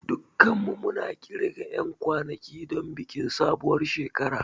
Dukanmu muna ƙirga 'yan kwanaki don bikin sabuwar shekara.